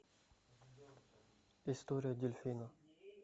история дельфина